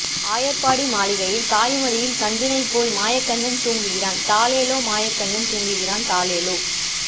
ஆயர்பாடி மாளிகையில் தாய்மடியில் கன்றினைப் போல் மாயக்கண்ணன் தூங்குகின்றான் தாலேலோ மாயக்கண்ணன் தூங்குகின்றான் தாலேலோ